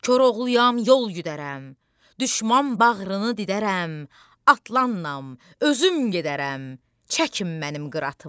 Koroğluyam, yol güdərəm, düşmən bağrını didərəm, atlanın, özüm gedərəm, çəkin mənim qıratımı.